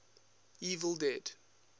evil dead